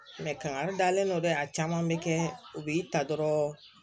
kangari dalen don dɛ a caman be kɛ u b'i ta dɔrɔn